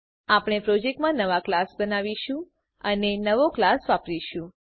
આપણે પ્રોજેક્ટમાં નવો ક્લાસ બનાવીશું અને નવો ક્લાસ વાપરીશુ